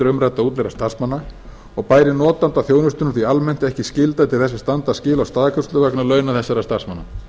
umræddra útleigðra starfsmanna og bæri notanda þjónustunnar því almennt ekki skylda til þess að standa skil á staðgreiðslu vegna launa þessara starfsmanna